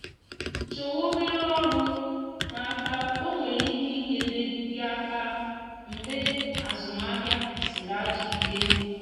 chọwa obere ọrụ n’aka o nwere ike nyere gị aka mgbe azụmahịa sịrị ajọ ike